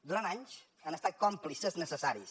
durant anys han estat còmplices necessaris